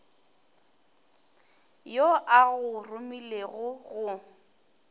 yo a go romilego go